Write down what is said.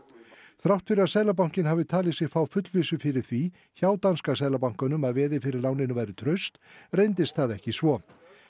þrátt fyrir að Seðlabankinn hafi talið sig fá fullvissu fyrir því hjá danska seðlabankanum að veðið fyrir láninu væri traust reyndist það ekki svo